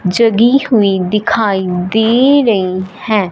जगी हुई दिखाई दे रही हैं।